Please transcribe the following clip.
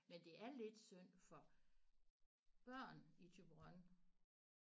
Men det er lidt synd for børn i Thyborøn